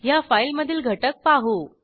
ह्या फाईलमधील घटक पाहू